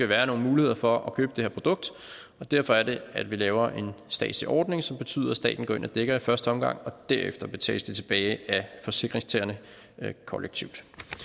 være nogen muligheder for at købe det her produkt og derfor er det at vi laver en statslig ordning som betyder at staten går ind og dækker i første omgang og derefter betales det tilbage af forsikringstagerne kollektivt